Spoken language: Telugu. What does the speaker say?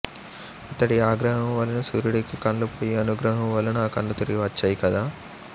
అతడి ఆగ్రహము వలన సూర్యుడికి కళ్ళు పోయి అనుగ్రహము వలన ఆ కళ్లు తిరిగి వచ్చాయి కదా